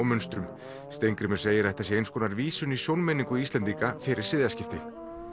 munstrum Steingrímur segir að þetta sé eins konar vísun í sjónmenningu Íslendinga fyrir siðaskipti